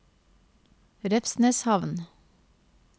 Revsneshamn